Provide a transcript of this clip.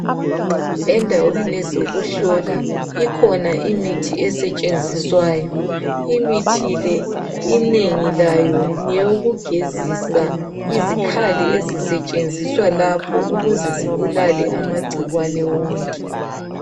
Endaweni ezokuhlola ikhona imithi esetshenziswayo. Imithi le inengi layo ngeyokugezisa izikhali ezisetshenziswa lapho ukuze zibulale amagcikwane wonke.